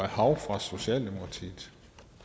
hav fra socialdemokratiet